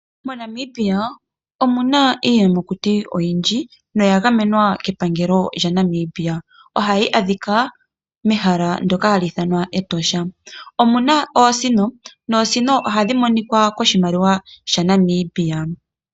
MoNamibia omuna iiyamakuti oyindji noya gamenwa kepangelo lyaNamibia nohi adhika mEtosha, omuna oosino noosino ohadhi adhika koshimaliwa shaNamibia.